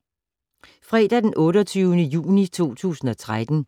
Fredag d. 28. juni 2013